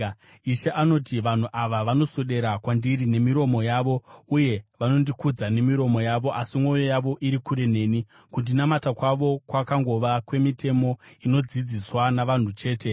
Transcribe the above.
Ishe anoti: “Vanhu ava vanoswedera kwandiri nemiromo yavo, uye vanondikudza nemiromo yavo, asi mwoyo yavo iri kure neni. Kundinamata kwavo kwangova kwemitemo inodzidziswa navanhu chete.